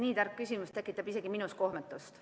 Nii tark küsimus tekitab isegi minus kohmetust.